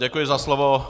Děkuji za slovo.